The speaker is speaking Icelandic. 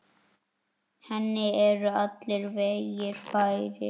Henni eru allir vegir færir.